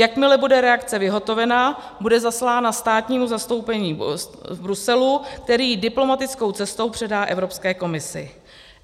Jakmile bude reakce vyhotovena, bude zaslána státnímu zastoupení v Bruselu, které ji diplomatickou cestou předá Evropské komisi.